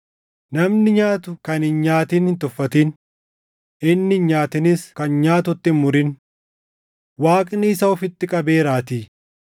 Namni nyaatu kan hin nyaatin hin tuffatin; inni hin nyaatinis kan nyaatutti hin murin; Waaqni isa ofitti qabeeraatii.